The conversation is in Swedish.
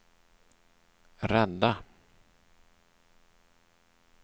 rädda